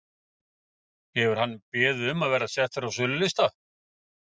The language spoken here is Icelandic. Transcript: Hefur hann beðið um að vera settur á sölulista?